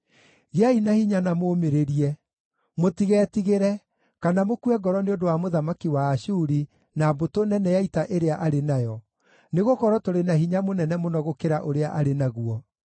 “Gĩai na hinya na mũũmĩrĩrie. Mũtigetigĩre, kana mũkue ngoro nĩ ũndũ wa mũthamaki wa Ashuri na mbũtũ nene ya ita ĩrĩa arĩ nayo, nĩgũkorwo tũrĩ na hinya mũnene mũno gũkĩra ũrĩa arĩ naguo.